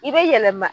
I bɛ yɛlɛma